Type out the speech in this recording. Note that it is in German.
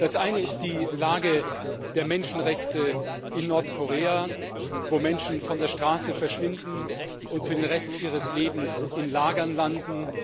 Das eine ist die Lage der Menschenrechte in Nordkorea, wo Menschen von der Straße verschwinden und für den Rest ihres Lebens in Lagern landen.